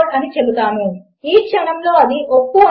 దానికి ఇంకా చాలా మంది ఇతర యూజర్లు ఉండడమును మీరు గమనించవచ్చు